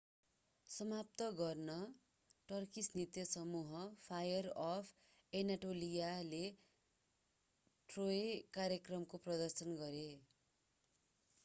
समाप्त गर्न टर्किस नृत्य समूह फायर अफ एनाटोलियाले ट्रोय कार्यक्रमको प्रदर्शन गरे